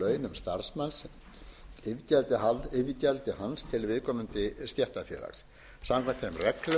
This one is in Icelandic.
starfsmanns iðgjaldi hans til viðkomandi stéttarfélags samkvæmt þeim reglum er